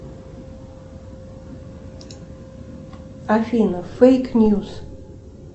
афина фейк ньюс